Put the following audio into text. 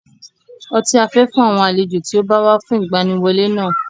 Ọtí a fẹ́ fún àwọn àlejò tí ó bá wá fún ìgbaniwọlé náà.